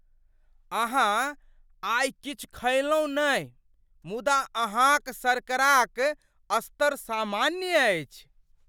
अहाँ आइ किछु खयलहुँ नहि मुदा अहाँक शर्करा क स्तर सामान्य अछि!